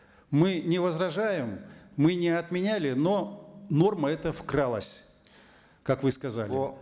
мы не возражаем мы не отменяли но норма эта вкралась как вы сказали